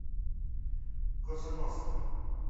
коса ностра